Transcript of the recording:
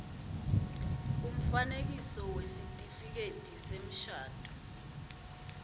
umfanekiso wesitifiketi semshado